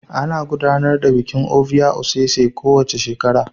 Ana gudanar da bikin Ovia osese kowace shekara